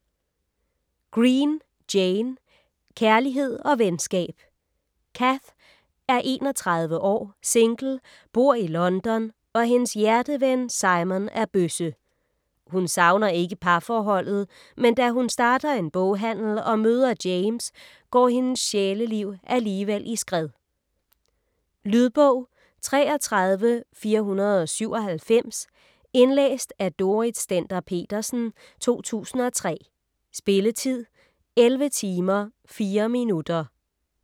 Green, Jane: Kærlighed og venskab Cath er 31 år, single, bor i London og hendes hjerteven Simon er bøsse. Hun savner ikke parforholdet, men da hun starter en boghandel og møder James, går hendes sjæleliv alligevel i skred. Lydbog 33497 Indlæst af Dorrit Stender-Petersen, 2003. Spilletid: 11 timer, 4 minutter.